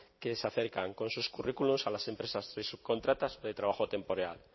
que se acercan con sus currículos a las empresas de subcontratas de trabajo temporal